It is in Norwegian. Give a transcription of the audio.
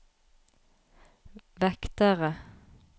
vektere